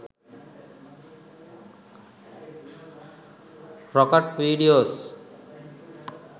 rocket videos